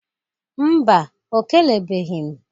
Mba, o kelebeghi m